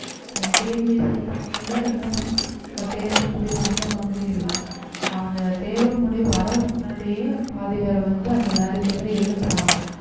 அஹ் TNPSC exam கூட இன்னும் தேர்வு முடிவு வந்த மாதிரி இல்லை அந்த தேர்வு முடிவு வர்றதுக்கு முன்னாடியே பாதி பேரை வந்து அந்த வேலைக்கு வந்து எடுக்குறாங்க